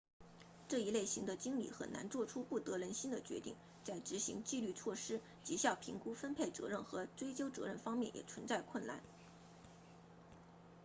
这一类型的经理很难做出不得人心的决定在执行纪律措施绩效评估分配责任和追究责任方面也存在困难